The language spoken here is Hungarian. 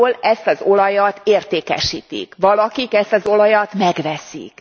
Valahol ezt az olajat értékesítik, valakik ezt az olajat megveszik.